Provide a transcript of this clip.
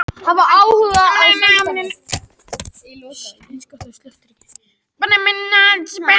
Önnur víkjandi gen valda misalvarlegum erfðasjúkdómum.